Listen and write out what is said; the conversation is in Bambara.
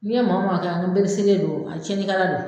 N'i ye maa o maa kaɲɛ ko n pereselen don a tiɲɛnikɛla don.